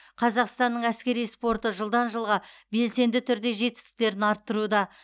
қазақстанның әскери спорты жылдан жылға белсенді түрде жетістіктерін арттыруда